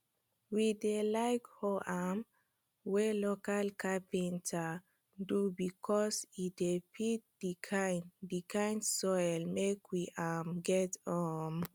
we dey like hoe um wey local capenter do becos e de fit d kind d kind soil make we um get um